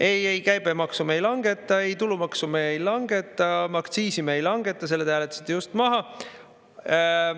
Ei, ei, käibemaksu me ei langeta, tulumaksu me ei langeta, aktsiisi me ei langeta, selle te hääletasite just maha.